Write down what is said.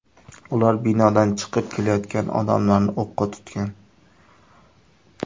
Ular binodan chiqib kelayotgan odamlarni o‘qqa tutgan.